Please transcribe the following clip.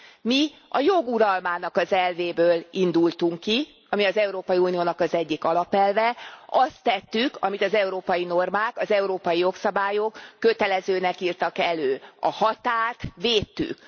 Mi a jog uralmának az elvéből indultunk ki, ami az Európai Uniónak az egyik alapelve, azt tettük, amit az európai normák, az európai jogszabályok kötelezőnek írtak elő a határt védtük.